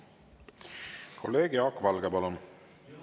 Kolleeg Jaak Valge, palun!